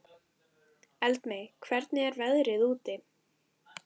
Eldmey, hvernig er veðrið úti?